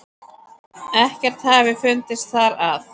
Ekkert hafi fundist þar að